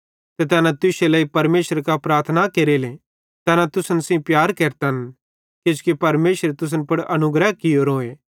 ते तैना तुश्शे लेइ परमेशरे कां प्रार्थना केरेले तैना तुसन सेइं प्यार केरतन किजोकि परमेशरे तुसन पुड़ अनुग्रह कियोरोए